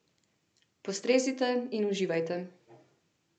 Postrezite in uživajte.